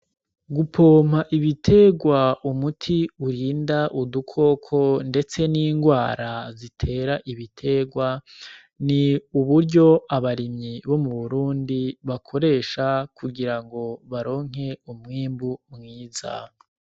Gupompa ibiterwa umuti urinda udukoko, ndetse n'ingwara zitera ibiterwa ni uburyo abarimyi bo mu burundi bakoresha kugira ngo baronke umwimbu mwiza.